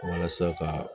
Walasa kaa